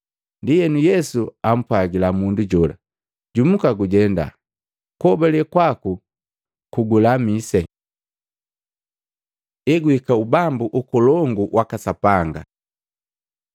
Ndienu Yesu ampwagila mundu jola, “Jumuka gujenda, kuhobale kwaku kugulamise.” Eguhika ubambu Ukolongu waka Sapanga Matei 24:23-28, 37-41